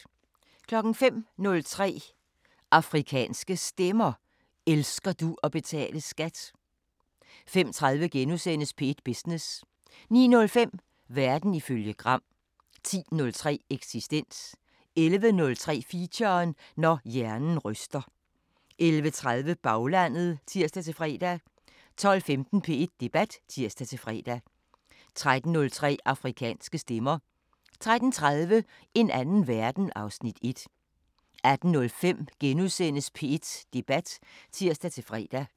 05:03: Afrikanske Stemmer: Elsker du at betale SKAT? 05:30: P1 Business * 09:05: Verden ifølge Gram 10:03: Eksistens 11:03: Feature: Når hjernen ryster 11:30: Baglandet (tir-fre) 12:15: P1 Debat (tir-fre) 13:03: Afrikanske Stemmer 13:30: En anden verden (Afs. 1) 18:05: P1 Debat *(tir-fre)